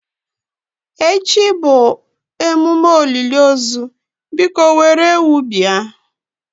Echi bụ emume olili ozu biko were ewu bia.